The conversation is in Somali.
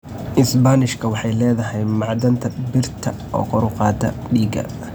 Isbaanishka waxay leedahay macdanta birta oo kor u qaada dhiigga.